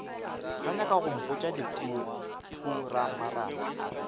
sa nyaka go mpotša dikhupamarama